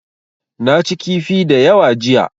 Na ci kifi da yawa jiya.